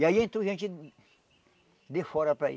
E aí entrou gente de fora para aí.